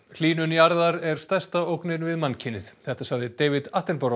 hlýnun jarðar er stærsta ógnin við mannkynið þetta sagði David